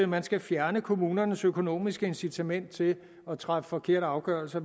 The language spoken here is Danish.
man skal fjerne kommunernes økonomiske incitament til at træffe forkerte afgørelser